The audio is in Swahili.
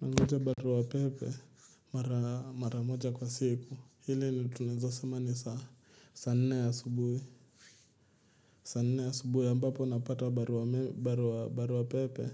Nangoja baruwa pepe mara moja kwa siku. Hili ni tunazosema ni saa nne ya subuhi. Sa nina ya asubuhi ambapo napata baruame barua pepe